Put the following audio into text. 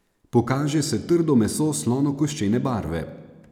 Pokaže se trdo meso slonokoščene barve.